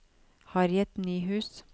Harriet Nyhus